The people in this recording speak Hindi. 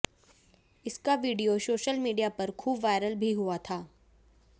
इसका वीडियो सोशल मीडिया पर खूब वायरल भी हुआ था